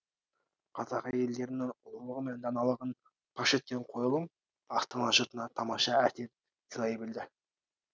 қазақ әрелдерінің ұлылығы мен даналығын паш еткен қойылым астана жұртына тамаша әсер сыйлай білді